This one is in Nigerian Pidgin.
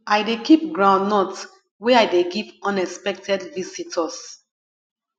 i dey keep groundnut wey i dey give unexpected visitors